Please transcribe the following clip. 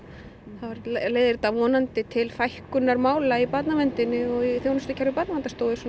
þá leiðir þetta vonandi til fækkunar mála í barnaverndinni og í þjónustukerfi Barnaverndarstofu